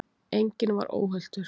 Enginn var óhultur.